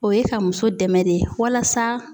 O ye ka muso dɛmɛ de walasa